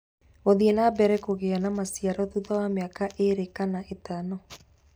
Gũthiĩ na mbere kũgĩa na maciaro thutha wa mĩaka ĩĩrĩ kana ĩtano.